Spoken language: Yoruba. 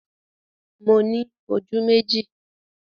Mo ní ojú méjì